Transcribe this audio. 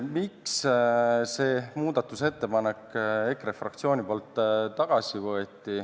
Miks EKRE fraktsioon selle muudatusettepaneku tagasi võttis?